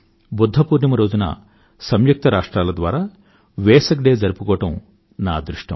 బుధ్ధ పూర్ణిమ రోజున సంయుక్త రాష్ట్రాల ద్వారా వేసాక్ డే జరుపుకోవడం నా అదృష్టం